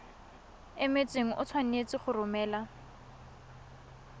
emetseng o tshwanetse go romela